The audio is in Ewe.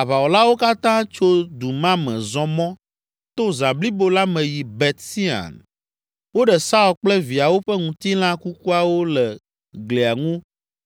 aʋawɔlawo katã tso du ma me zɔ mɔ to zã blibo la me yi Bet Sean. Woɖe Saul kple viawo ƒe ŋutilã kukuawo le glia ŋu